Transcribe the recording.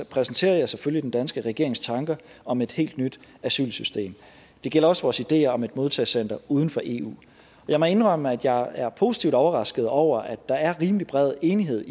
præsenterer jeg selvfølgelig den danske regerings tanker om et helt nyt asylsystem det gælder også vores ideer om et modtagecenter uden for eu jeg må indrømme at jeg er positivt overrasket over at der er rimelig bred enighed